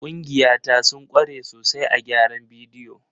Ƙungiya ta sun kware sosai a gyaran bidiyo.